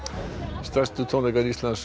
stærstu tónleikar Íslandssögunnar